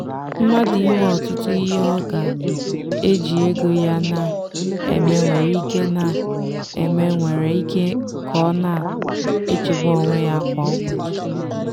mmadụ inwe ọtụtụ ihe ọ ga-eji ego ya na-eme nwere ike na-eme nwere ike ime ka ọ na-echegbu onwe ya kwa ụbọchị.